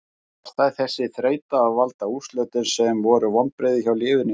Var þessi þreyta að valda úrslitum sem voru vonbrigði hjá liðinu í haust?